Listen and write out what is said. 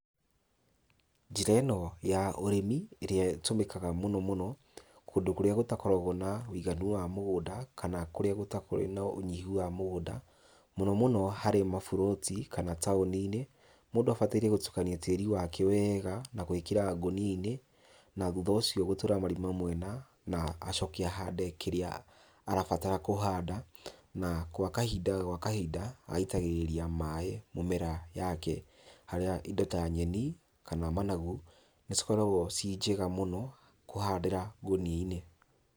Njĩra ĩno ya ũrĩmi ĩrĩa ĩtũmĩkaga mũno mũno, kũndũ kũrĩa gũtakoragwo na wũiganu wa mũgũnda, kana kũrĩa kũrĩ na ũnyihu wa mũgũnda. Mũno mũno harĩ maburoti kana taoni-inĩ, mũndũ abataire gũtukania tĩrĩ wake wega, na gwĩkĩra ngũnia-inĩ na thutha ũcio gũtũra marima mwena na acoke ahande kĩrĩa arabatara kũhanda, na gwa kahinda gwa kahinda agaitagĩrĩria maaĩ mĩmera yake. Harĩa indo ta nyeni kana managu nĩcikoragwo ci njega mũno kũhandĩra ngũnia-inĩ.